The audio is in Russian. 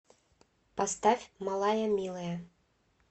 поставь малая милая